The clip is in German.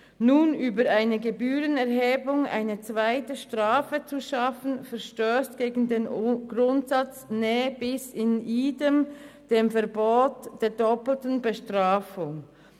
Nun über eine Gebührenerhebung eine zweite Strafe zu schaffen, verstösst gegen den Grundsatz «ne bis in idem», also das Verbot der doppelten Bestrafung.